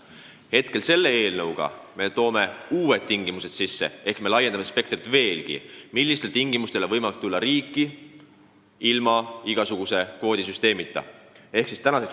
Nüüd me tahame selle seadusega kehtestada uued tingimused ehk me laiendame veelgi seda spektrit, millisel alusel on võimalik Eestisse tulla, ilma et sisserändekvooti arvestataks.